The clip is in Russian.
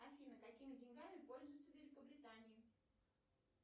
афина какими деньгами пользуются в великобритании